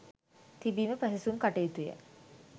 තිබීම පැසසුම් කටයුතුය.